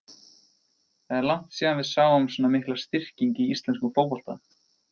Það er langt síðan við sáum svona mikla styrkingu í íslenskum fótbolta.